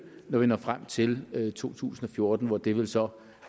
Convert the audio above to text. når vi når frem til to tusind og fjorten hvor det vel så